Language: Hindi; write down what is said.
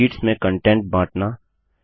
शीट्स में कन्टेंट बाँटना